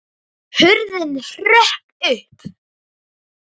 Hurðin hrökk upp!